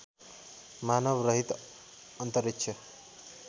मानव रहित अन्तरिक्ष